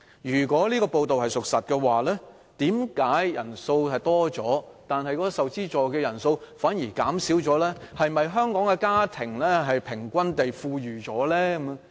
如果屬實，為何學生人數增加，但受資助的人數反而減少，是否香港的家庭平均富裕了？